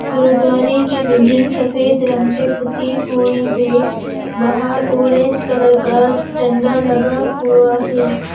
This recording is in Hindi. गुरुद्वारे की बिल्डिंग सफ़ेद रंग से पुती हुई है बाहर ऑरेंज कलर का झंडा लगा हुआ है।